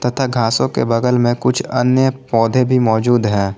तथा घासो के बगल में कुछ अन्य पौधे भी मौजूद हैं।